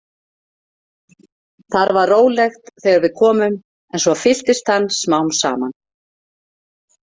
Þar var rólegt þegar við komum en svo fylltist hann smám saman.